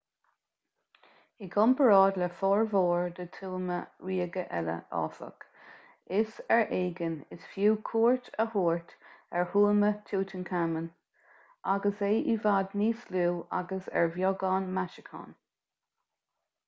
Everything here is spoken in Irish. i gcomparáid le formhór na dtuama ríoga eile áfach is ar éigean is fiú cuairt a thabhairt ar thuama tutankhamun agus é i bhfad níos lú agus ar bheagán maisiúcháin